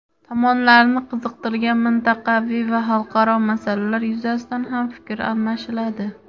Tomonlarni qiziqtirgan mintaqaviy va xalqaro masalalar yuzasidan ham fikr almashiladi.